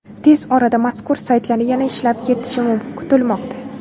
Tez orada mazkur saytlar yana ishlab ketishi kutilmoqda.